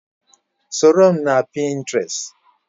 Soro m na Pinterest!